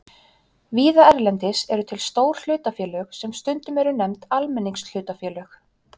Víða erlendis eru til stór hlutafélög sem stundum eru nefnd almenningshlutafélög.